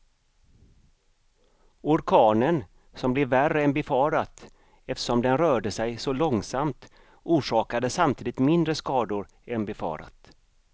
Orkanen som blev värre än befarat eftersom den rörde sig så långsamt, orsakade samtidigt mindre skador än befarat.